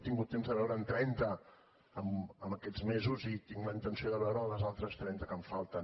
he tingut temps de veure’n trenta en aquests mesos i tinc la intenció de veure les altres trenta que em falten